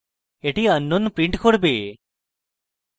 এটি unknown print করবে